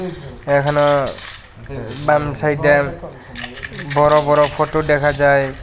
এহনও বান সাইডে বড় বড় ফটো দেখা যায়।